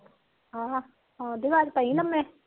ਹਾਂ